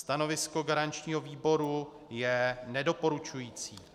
Stanovisko garančního výboru je nedoporučující.